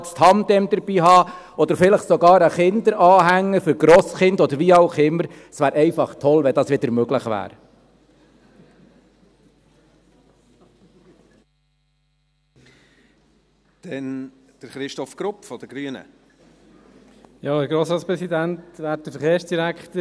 Wenn man das Tandem mitnehmen könnte, oder vielleicht sogar einen Kinderanhänger für Grosskinder oder wie auch immer, es wäre einfach toll, wenn dies wieder möglich wäre.